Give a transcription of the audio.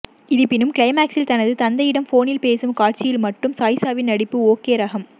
இருப்பினும் கிளைமாக்ஸில் தனது தந்தையிடம் போனில் பேசும் காட்சியில் மட்டும் சாயிஷாவின் நடிப்பு ஓகே ரகம்